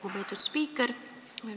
Lugupeetud spiiker!